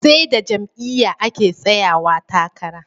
Seda jam'iya ake tsayawa takara